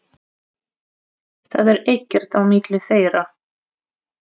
Það er ekkert á milli þeirra.